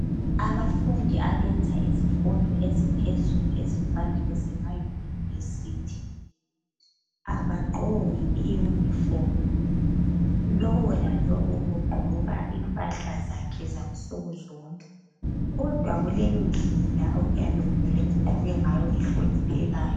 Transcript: Abafundi abenza izifundo eziphezulu ezifana lezema university abagqoki i uniform lowo lalowo ugqoka impahla zakhe zansuku zonke kodwa kulendlela okuyabe kumele ugqoke ngayo ehloniphekayo.